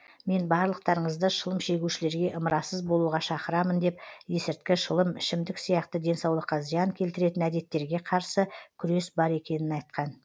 мен барлықтарыңызды шылым шегушілерге ымырасыз болуға шақырамын деп есірткі шылым ішімдік сияқты денсаулыққа зиян келтіретін әдеттерге қарсы күрес бар екенін айтқан